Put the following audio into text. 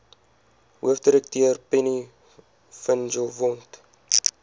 hoofdirekteur penny vinjevold